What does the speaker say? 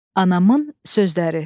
Anamın sözləri.